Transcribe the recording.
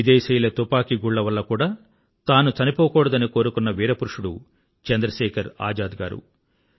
విదేశీయుల తుపాకీ గుళ్ళ వల్ల కూడా తాను చనిపోకూడదని కోరుకున్న వీర పురుషుడు చంద్రశేఖర్ ఆజాద్ గారు